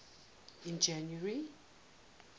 in january